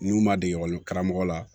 N'u ma dege ekɔli karamɔgɔ la